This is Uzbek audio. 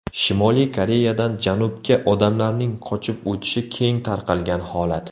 Shimoliy Koreyadan Janubga odamlarning qochib o‘tishi keng tarqalgan holat.